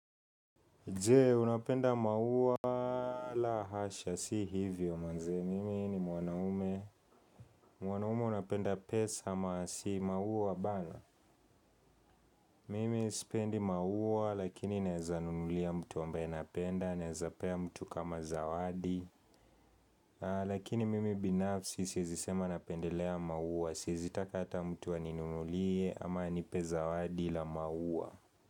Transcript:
Je unapenda maua la hasha si hivyo manze mimi ni mwanaume mwanaume unapenda pesa ama si maua bana mimi sipendi maua lakini naeza nunulia mtu ambaye napenda naeza pea mtu kama zawadi lakini mimi binafsi sieizi sema napendelea maua sieizi taka ata mtu aninunulie ama anipe zawadi la maua.